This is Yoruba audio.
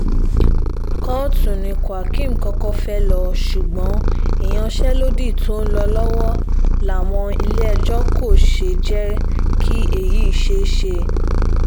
kóòtù ni quakim kọ́kọ́ fẹ́ẹ́ lọ ṣùgbọ́n ìyanṣẹ́lódì tó ń lọ lọ́wọ́ láwọn ilé-ẹjọ́ kò jẹ́ kí èyí ṣeé ṣe